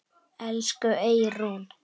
Elsku Eyrún.